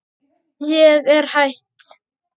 Ég er hætt.